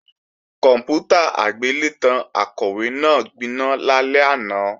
Kòǹpútà agbélétan Akọ̀wé náà gbiná lálẹ́ àná